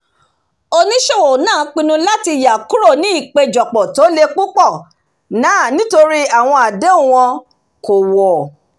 oníṣòwò náà pinnu láti yà kúrò ní ìpèjọpọ tó lè púpọ̀ nàà nítorí àwọn àdéhùn wọn kò wọ̀